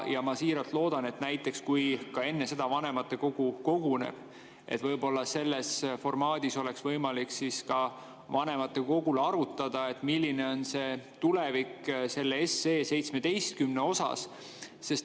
Ma siiralt loodan, et kui enne seda vanematekogu koguneb, siis võib-olla selles formaadis oleks võimalik vanematekogul arutada, milline on selle 17 SE tulevik.